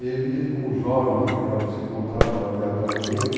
E evidente como os jovens naquela época se encontravam aleatoriamente,